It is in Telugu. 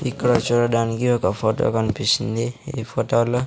ఇక్కడ చూడడానికి ఒక ఫోటో కనిపిస్తుంది ఈ ఫోటో లో --